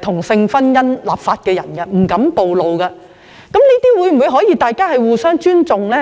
同性婚姻立法，那麼大家是否可以互相尊重呢？